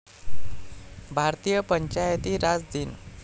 भारतीय पंचायती राज दिन